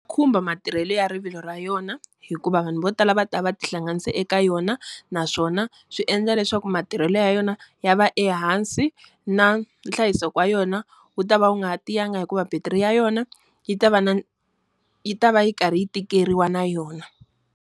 Khumba matirhelo ya rivilo ra yona, hikuva vanhu vo tala va ta va va ti hlanganise eka yona. Naswona, swi endla leswaku matirhelo ya yona ya va ehansi na nhlayiseko wa yona, wu ta va wu nga ha tiyangi hikuva battery ya yona, yi ta va na yi ta va yi karhi yi tikeriwa na yona.